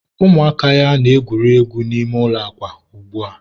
ụmụaka ya na-egwuri egwu n'ime ụlọ akwa ugbua.